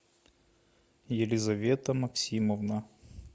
елизавета максимовна